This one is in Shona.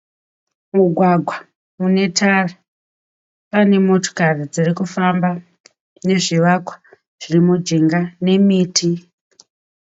Mugwagwa unetara pane motikari dzirikufamba nezvivakwa zvirimujinga, nemiti